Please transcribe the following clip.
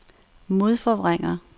modforvrænger